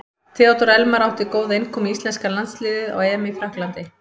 Theodór Elmar átti góða innkomu í íslenska landsliðið á EM í Frakklandi.